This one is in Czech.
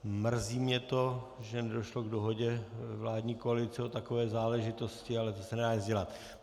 Mrzí mě to, že nedošlo k dohodě vládní koalice o takové záležitosti, ale to se nedá nic dělat.